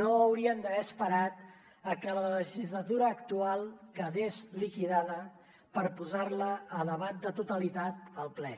no haurien d’haver esperat a que la legislatura actual quedés liquidada per posar la a debat de totalitat al ple